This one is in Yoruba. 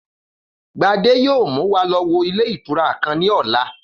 Gbadé yóò mú wa lo̩ wo ilé ìtura kan ní ò̩la